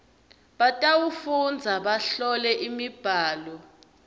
batawufundza bahlole imibhalo